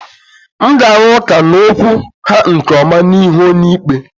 M ga-arụ ụka n'okwu ha nke ọma n'ihu onyeikpe.